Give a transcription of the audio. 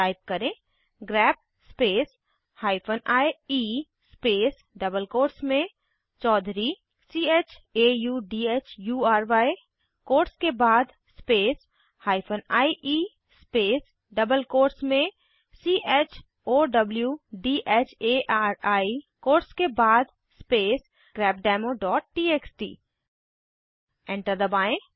type करें grep space hyphen E space double quotes में Chaudhury quotes के बाद space hyphen E space double quotes में चौधरी कोट्स के बाद स्पेस grepdemoटीएक्सटी एंटर दबाएं